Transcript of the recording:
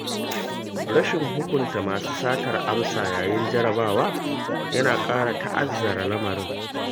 Rashin hukunta masu satar amsa yayin jarabawa yana ƙara ta'azzara lamarin.